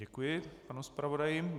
Děkuji panu zpravodaji.